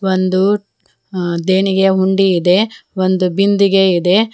ಒಂದು ಅ ದೇಣಿಗೆ ಉಂಡೆ ಇದೆ ಒಂದು ಬಿಂದಿಗೆ ಇದೆ.